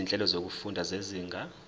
izinhlelo zokufunda zezinga